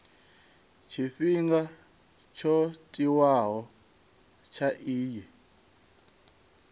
tshifhinga tsho tiwaho tsha iyi